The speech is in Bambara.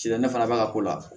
Ci la ne fana b'a ka ko la